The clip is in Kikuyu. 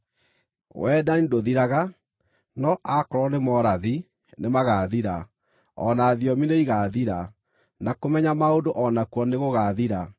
Wendani ndũthiraga. No akorwo nĩ morathi, nĩmagathira; o na thiomi nĩigathira; na kũmenya maũndũ o nakuo nĩgũgathira.